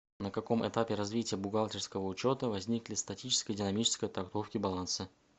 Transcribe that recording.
на каком этапе развития бухгалтерского учета возникли статическая и динамическая трактовки баланса